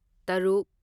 ꯇꯔꯨꯛ